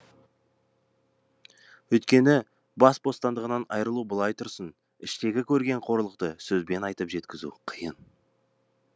өйткені бас бостандығынан айырылу былай тұрсын іштегі көрген қорлықты сөзбен айтып жеткізу қиын